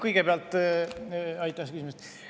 Aitäh selle küsimuse eest!